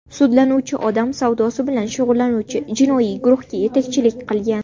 Sudlanuvchi odam savdosi bilan shug‘ullanuvchi jinoiy guruhga yetakchilik qilgan.